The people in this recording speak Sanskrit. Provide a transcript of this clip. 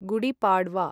गुडि पाड्वा